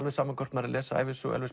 sama hvort maður les ævisögu Elvis